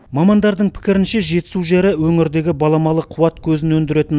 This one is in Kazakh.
мамандардың пікірінше жетісу жері өңірдегі баламалы қуат көзін өндіретін